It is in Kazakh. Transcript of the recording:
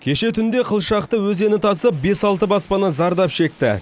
кеше түнде қылшақты өзені тасып бес алты баспана зардап шекті